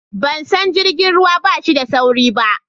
ban san jirgin ruwan bashi da sauri ba